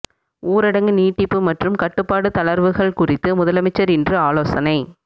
ஊரடங்கு நீட்டிப்பு மற்றும் கட்டுப்பாடு தளர்வுகள் குறித்து முதலமைச்சர் இன்று ஆலோசனை